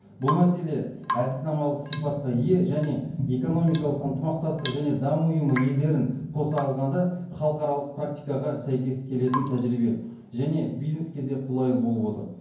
бұл мәселе әдіснамалық сипатқа ие және экономикалық ынтымақтастық және даму ұйымы елдерін қоса алғанда халықаралық практикаға сәйкес келетін тәжірибе және бизнеске де қолайлы болып отыр